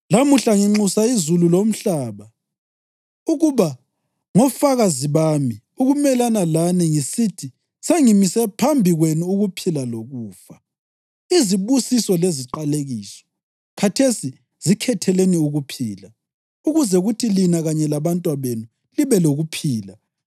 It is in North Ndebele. Lamuhla nginxusa izulu lomhlaba ukuba ngofakazi bami ukumelana lani ngisithi sengimise phambi kwenu ukuphila lokufa, izibusiso leziqalekiso. Khathesi zikhetheleni ukuphila, ukuze kuthi lina kanye labantwabenu libe lokuphila